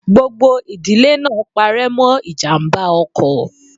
Gbogbo ìdílé náà pare mọ ijàmbá ọkọ̀.